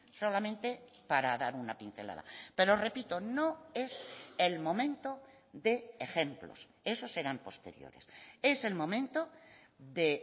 solamente para dar una pincelada pero repito no es el momento de ejemplos esos eran posteriores es el momento de